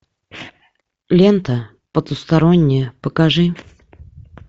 лента потустороннее покажи